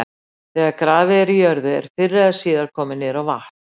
Þegar grafið er í jörðu er fyrr eða síðar komið niður á vatn.